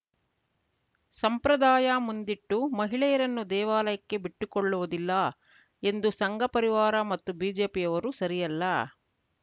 ಸಂಪ್ರದಾಯ ಮುಂದಿಟ್ಟು ಮಹಿಳೆಯರನ್ನು ದೇವಾಲಯಕ್ಕೆ ಬಿಟ್ಟು ಕೊಳ್ಳುವುದಿಲ್ಲ ಎಂದು ಸಂಘ ಪರಿವಾರ ಮತ್ತು ಬಿಜೆಪಿಯವರು ಸರಿಯಲ್ಲ